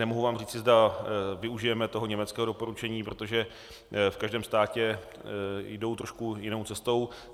Nemohu vám říci, zda využijeme toho německého doporučení, protože v každém státě jdou trošku jinou cestou.